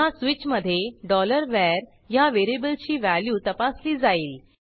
पुन्हा स्वीचमधे var ह्या व्हेरिएबलची व्हॅल्यू तपासली जाईल